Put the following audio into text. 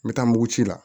N bɛ taa muguci la